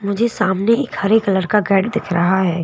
मुझे सामने एक हरे कलर का गाड़ी दिख रहा है।